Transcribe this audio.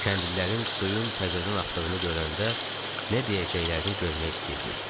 Kəndlilərin suyun təzədən axdığını görəndə nə deyəcəklərini görmək istəyirdik.